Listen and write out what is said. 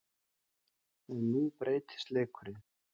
En nú breytist leikurinn.